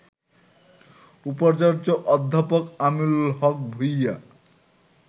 উপাচার্য অধ্যাপক আমিনুল হক ভূইয়া